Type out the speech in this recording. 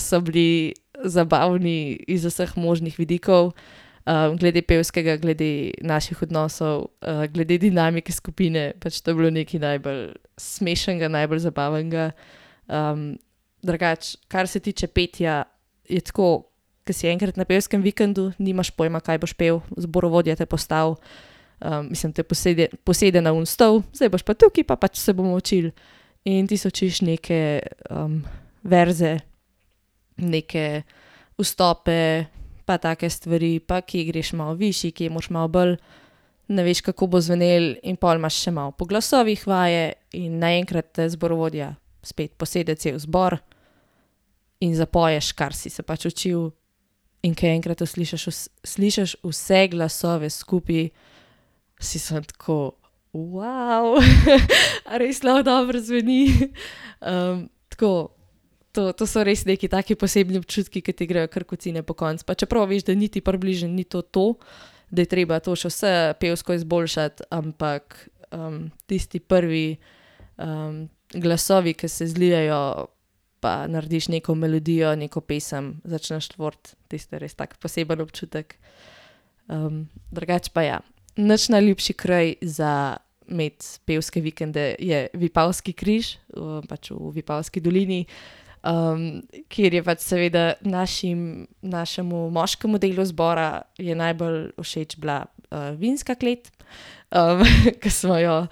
so bili, zabavni iz vseh možnih vidikov. glede pevskega, glede naših odnosov, glede dinamike skupine, pač to je bilo nekaj najbolj smešnega, najbolj zabavnega, drugače, kar se tiče petja, je tako, ko si enkrat na pevskem vikendu, nimaš pojma, kaj boš pel, zborovodja te postavi, mislim te posede, posede na oni stol, zdaj boš pa tukaj pa pač se bomo učili. In ti se učiš neke, verze, neke vstope, pa take stvari, pa kje greš malo višje, kje moraš malo bolj. Ne veš, kako bo zvenelo. In pol imaš še malo po glasovih vaje in naenkrat te zborovodja spet posede cel zbor in zapoješ, kar si se pač učil. In ko enkrat to slišiš vse glasove skupaj, si samo tako, a res lahko dobro zveni, tako to, to so res neki taki posebni občutki, ke ti grejo kar kocine pokonci, pa čeprav veš, da niti približno ni to to, da je treba to še vse pevsko izboljšati, ampak, tisti prvi, glasovi, ko se zlijejo, pa narediš neko melodijo, neko pesem začneš tvoriti, tisto je res tak poseben občutek. drugače pa ja. Naš najljubši kraj za imeti pevske vikende, je Vipavski križ, pač v Vipavski dolini. kjer je pač seveda našim, našemu moškemu delu zbora je najbolj všeč bila, vinska klet, ke smo jo,